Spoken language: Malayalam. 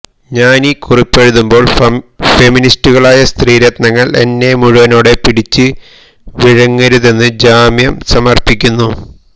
ഞാനീ കുറിപ്പെഴുതുമ്പോൾ ഫെമിനിസ്റ്റുകളായ സ്ത്രീ രത്നങ്ങൾ എന്നെ മുഴുവനോടെ പിടിച്ച് വിഴുങ്ങരുതെന്ന് ജാമ്യം സമർപ്പിക്കുന്നു